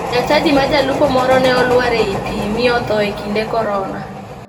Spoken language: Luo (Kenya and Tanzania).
Ja chadi ma jalupo moro ne oluar ei pii mi otho e kinde korona.